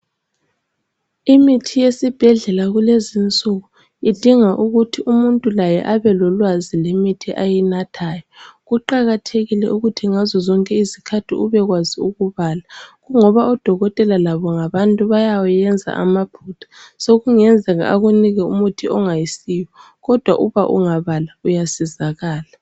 Imithi yakulezi nsuku idinga ukuthi umuntu laye abelolwazi lwemithi ayinathayo kuqakathekile ukuthi ngazozonke izikhathi ubekwazi ukubala kungoba odokotela labo ngabantu bayawenza amaphutha sokungenzeka akunike umuthi ongayisiwo kodwa uma ungabala uyasizakala.